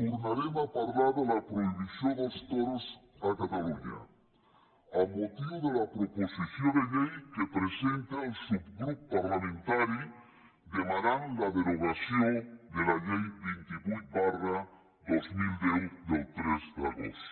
tornarem a parlar de la prohibició dels toros a catalunya amb motiu de la proposició de llei que presenta el subgrup parlamentari que demana la derogació de la llei vint vuit dos mil deu del tres d’agost